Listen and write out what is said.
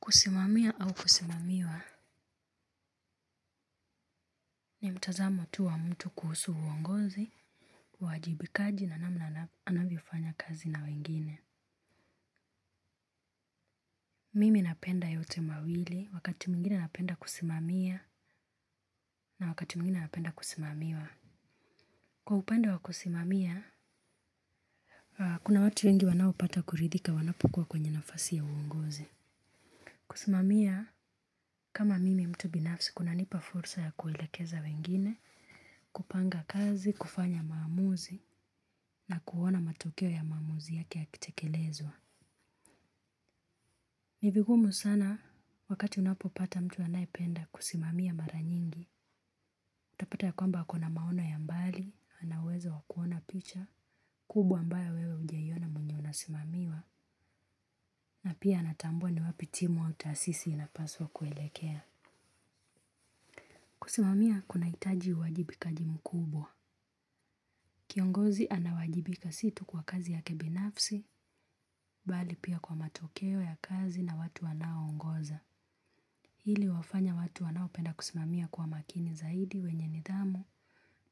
Kusimamia au kusimamiwa ni mtazamo tu wa mtu kuhusu uongozi, uwajibikaji na namna anavyofanya kazi na wengine. Mimi napenda yote mawili wakati mwingine napenda kusimamia na wakati mwingine napenda kusimamiwa. Kwa upande wa kusimamia, kuna watu wengi wanaopata kuridhika wanapokua kwenye nafasi ya uongozi. Kusimamia kama mimi mtu binafsi kunanipa fursa ya kuelekeza wengine, kupanga kazi, kufanya maamuzi na kuona matokeo ya maamuzi yake yakitekelezwa ni vigumu sana wakati unapopata mtu anayependa kusimamia mara nyingi, utapata ya kwamba ako na maono ya mbali, ana uwezo wa kuona picha, kubwa ambayo wewe hujaiona mwenye unasimamiwa na pia anatambua ni wapi timu au taasisi inapaswa kuelekea. Kusimamia kunahitaji uwajibikaji mkubwa. Kiongozi anawajibika si tu kwa kazi yake binafsi bali pia kwa matokeo ya kazi na watu wanaoongoza. Hili huwafanya watu wanaopenda kusimamia kwa makini zaidi wenye nidhamu